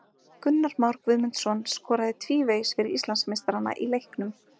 Gunnar Már Guðmundsson skoraði tvívegis fyrir Íslandsmeistarana í leiknum.